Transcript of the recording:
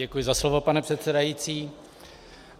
Děkuji za slovo, pane předsedající.